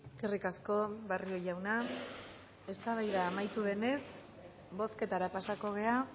eskerrik asko barrio jauna eztabaida amaitu denez bozketara pasako gara